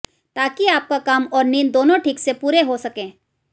ताकि आपका काम और नींद दोनों ठीक से पूरे हो सकें